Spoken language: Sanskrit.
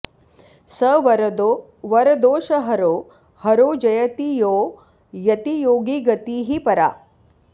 स वरदो वरदोषहरो हरो जयति यो यतियोगिगतिः परा